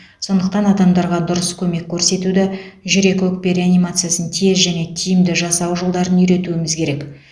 сондықтан адамдарға дұрыс көмек көрсетуді жүрек өкпе реанимациясын тез және тиімді жасау жолдарын үйретуіміз керек